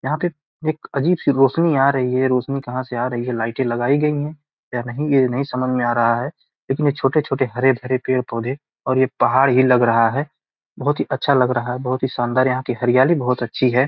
यहाँ पे एक अजीब सी रौशनी आ रही है। रौशनी कहाँ से आ रही है। लाइटे लगाई गई हैं या नहीं ये नहीं समझ में आ रहा है। लेकिन ये छोटे-छोटे हरे-भरे पेड़-पौधे और एक पहाड़ ही लग रहा है। बोहत ही अच्छा लग रहा है। बोहत शानदार यहां की हरियाली बोहोत अच्छी है।